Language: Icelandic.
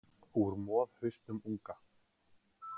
Úr moðhausnum unga.